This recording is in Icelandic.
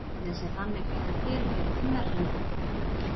efnið sem þannig fellur til fer í þunna hringinn umhverfis júpíter